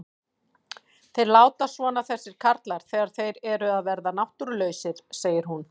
Þeir láta svona þessir karlar þegar þeir eru að verða náttúrulausir, segir hún.